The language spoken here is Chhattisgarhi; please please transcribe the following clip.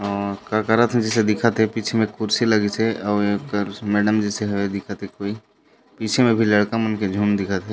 का का करात हे दिखत हे पीछे मे कुर्सी लगीसे अउ एकर मैडम जेसन दिखत हे कोई पीछे मे लड़का मन के झुण्ड दिखत हे।